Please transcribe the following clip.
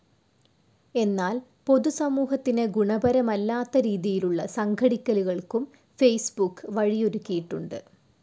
എന്നാൽ പൊതുസമൂഹത്തിന് ഗുണപരമല്ലാത്ത രീതിയിലുള്ള സംഘടിക്കലുകൾക്കും ഫേസ്‌ബുക്ക് വഴിയൊരുക്കിയിട്ടുണ്ട്.